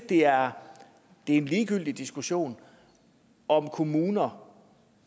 det er en ligegyldig diskussion om kommuner